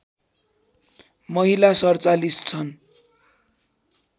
महिला ४७ छन्